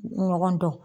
Ɲɔgɔn dɔn